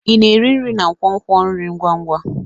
Ị na-eri nri na nkwonkwo nri ngwa ngwa?